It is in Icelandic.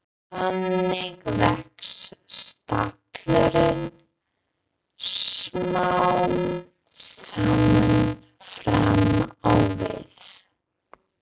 Þannig vex stallurinn smám saman fram á við.